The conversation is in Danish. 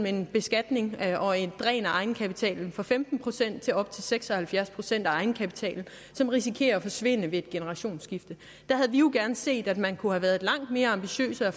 en beskatning og et dræn af egenkapitalen fra femten procent til op til seks og halvfjerds procent af egenkapitalen som risikerer at forsvinde ved et generationsskifte der havde vi jo gerne set at man kunne have været langt mere ambitiøs og